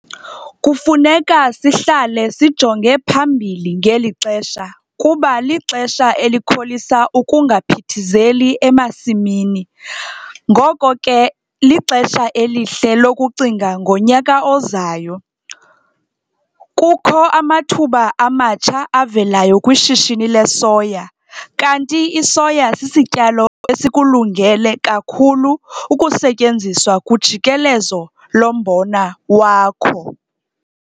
Kufuneka sihlale sijonge phambili - ngeli xesha, kuba lixesha elikholisa ukungaphithizeli emasimini ngoko ke lixesha elihle lokucinga ngonyaka ozayo. Kukho amathuba amatsha avelayo kwishishini lesoya - kanti isoya sisityalo esikulungele kakhulu ukusetyenziswa kujikelezo lombona wakho.